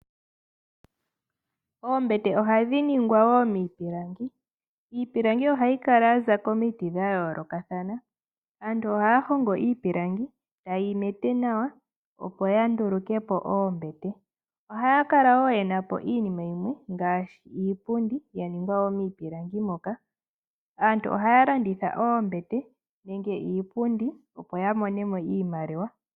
Oombete ohadhi ningwa wo miipilangi. Iipilangi ohayi kala ya za komiti dha yoolokathana. Aantu ohaya iipilangi, taye yi mete nawa, opo ya nduluke po oombete. Ohaya kala wo ye na po iinima yimwe ngaashi iipundi ya ningwa wo miipilangi moka. Aantu ohaya landitha oombete nenge iipundi, opo ya mone mo iimaliwa.